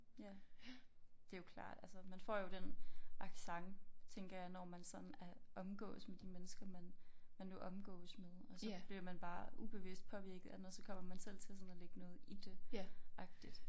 Ja det jo klart altså man får jo den accent tænker jeg når man sådan er omgås med de mennesker man man nu omgås med og så bliver man bare ubevidst påvirket af noget så kommer man selv til sådan at lægge noget i det agtigt